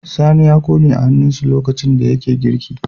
Sani ya kone a hannun shi lokacin da yake girki